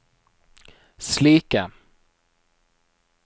slike